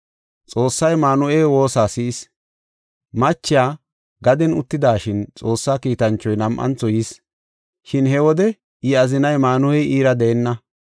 Xoossay Maanuhe woosa si7is. Machiya gaden uttidashin Xoossa kiitanchoy nam7antho yis; shin he wode I azinay Maanuhey iira deenna.